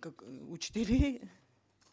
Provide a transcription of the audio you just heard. как учителей